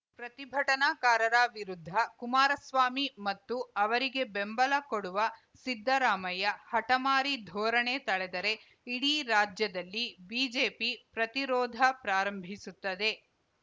ಪ್ರತಿಭಟನಾಕಾರರ ವಿರುದ್ಧ ಕುಮಾರಸ್ವಾಮಿ ಮತ್ತು ಅವರಿಗೆ ಬೆಂಬಲ ಕೊಡುವ ಸಿದ್ದರಾಮಯ್ಯ ಹಠಮಾರಿ ಧೋರಣೆ ತಳೆದರೆ ಇಡೀ ರಾಜ್ಯದಲ್ಲಿ ಬಿಜೆಪಿ ಪ್ರತಿರೋಧ ಪ್ರಾರಂಭಿಸುತ್ತದೆ